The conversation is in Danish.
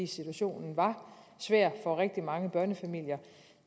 situationen var svær for rigtig mange børnefamilier